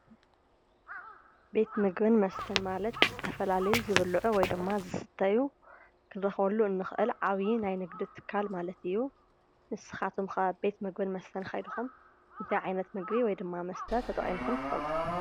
ቤት ምግብን መስተን ማለት ዝተፈላለዩ ዝብሉዑ ወይድማ ዝስተዩ ክንረኽበሉ ንኽእል ዓብይ ናይ ንግዲ ትካል ማለት እዩ። ንስኻቱኩም ኸ ቤት ምግብን መስተን ከይድኹም እንታይ ዓይነት ምግቢ ወይድማ መስተ ተጠቂምኹም ትፈልጡ?